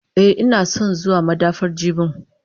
Ehh, ina son zuwa madafar jibin?